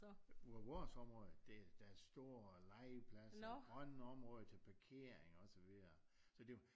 Hvor vores område det der store legepladser grønne områder til parkering og så videre så det var